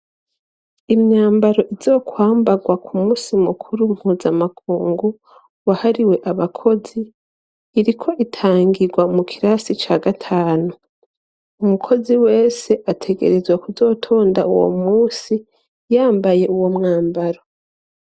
Imyambaro izokwambarwa ku musi mukuru mpuzamakungu wahariwe abakozi iriko itangirwa mu kirasi ca gatanu umukozi wese ategerezwa kuzotonda uwo musi yambaye uwo mwambaro.